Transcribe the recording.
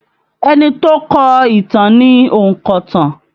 Ẹni tó kọ ìtàn ni ònkọ̀tan